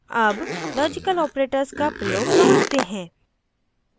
अब logical operators का प्रयोग समझते हैं